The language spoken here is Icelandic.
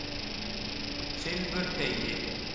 Silfurteigi